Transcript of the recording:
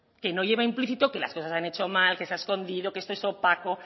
que no lleva implícito que las cosas se han hecho mal que se ha escondido que esto es opaco